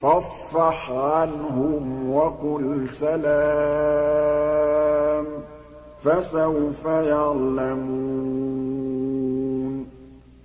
فَاصْفَحْ عَنْهُمْ وَقُلْ سَلَامٌ ۚ فَسَوْفَ يَعْلَمُونَ